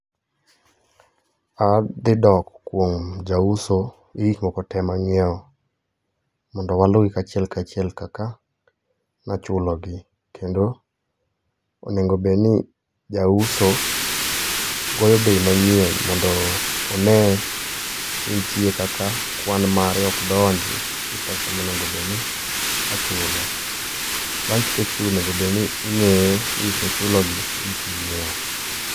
A dhi dok kuom ja uso gi gik moko te ma ngiewo mondo mondo wa lu gi achiel ka achiel kaka no chulo gi kendo onego bed ni ja uso goyo bei manyien mondo o ne nitie kaka kwan mare ok donji gi pesa ma onego bed ni ochulo bang ka isechudo onego bed ni ingeyo ni gik mi chulo gi e gik ma ingiewo